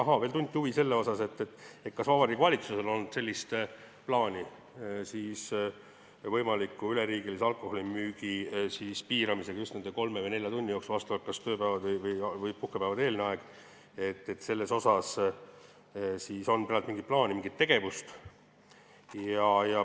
Ahaa, veel tunti huvi selle vastu, kas Vabariigi Valitsusel on olnud plaani alkoholimüügi võimalikuks üleriigiliseks piiramiseks just nimelt nende kolme või nelja tunni jooksul vastavalt kas tööpäeva või puhkepäeva eelsel ajal, et kas on peetud mingit plaani või olnud mingit tegevust.